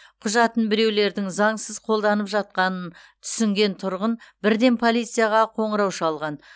құжатын біреулердің заңсыз қолданып жатқанын түсінген тұрғын бірден полицияға қоңырау шалған